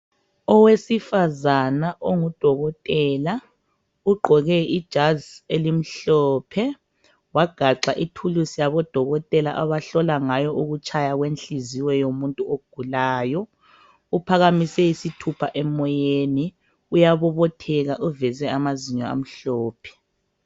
Owesifazana ongudokotela ugqoke ijazi elimhlophe wagaxa ithulusi yabodokotela abahlola ngayo ukutshaya kwenhliziyo yomuntu ogulayo. Uphakamise isithupha emoyeni uyabobotheka uveze amazinyo amhlophe.